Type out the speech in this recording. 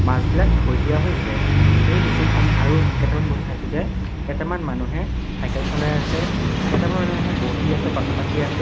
মাছবিলাক থৈ দিয়া হৈছে এই দৃশ্যটোত আমি আৰু কেইটামান বস্তু চাইছো যে কেটেমান মানুহে চাইকেল চলাই আছে কেটেমান মানুহে বহি আছে কথা পাতি আছে।